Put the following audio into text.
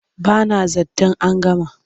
Ba na zaton an gama.